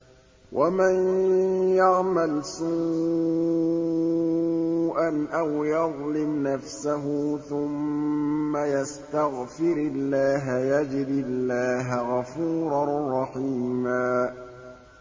وَمَن يَعْمَلْ سُوءًا أَوْ يَظْلِمْ نَفْسَهُ ثُمَّ يَسْتَغْفِرِ اللَّهَ يَجِدِ اللَّهَ غَفُورًا رَّحِيمًا